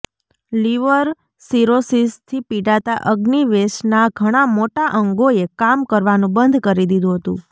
liver સિરોસિસથી પીડાતા અગ્નિવેશના ઘણા મોટા અંગોએ કામ કરવાનું બંધ કરી દીધું હતું